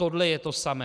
Tohle je to samé.